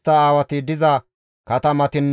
Makimaase katama asati 122,